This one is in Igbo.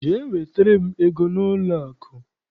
Jee wetara m ego n'ụlọakụ!